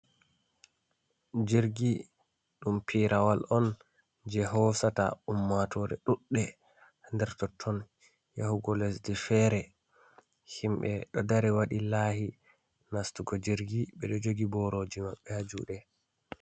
Jirgi ɗum pirawal on je hosata ummatore ɗuɗde nder totton yahugo lesɗe fere, himɓɓe ɗo dari waɗi lahi nastugo jirgi ɓe ɗo jogi boroji maɓɓe ha juɗe.